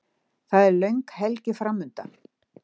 Það er löng helgi framundan.